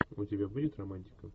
у тебя будет романтика